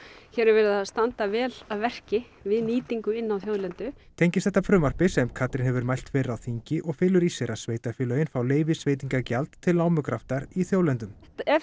hér er verið að standa vel að verki við nýtingu inn á þjóðlendu tengist þetta frumvarpi sem Katrín hefur mælt fyrir á þingi og felur í sér að sveitarfélögin fá leyfisveitingavald til námugraftar í þjóðlendum ef